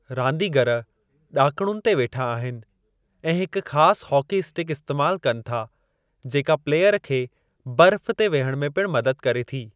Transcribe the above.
रांदीगर ॾाकणुनि ते वेठा आहिनि ऐं हिक ख़ासि हॉकी इस्टिक इस्तेमाल कनि था जेका प्लेयर खे बर्फ़ ते विहणु में पिणु मदद करे थी।